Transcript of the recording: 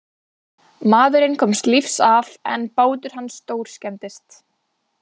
Maðurinn komst lífs af en bátur hans stórskemmdist.